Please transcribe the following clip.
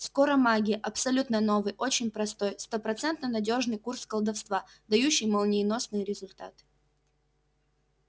скоромагия абсолютно новый очень простой стопроцентно надёжный курс колдовства дающий молниеносные результаты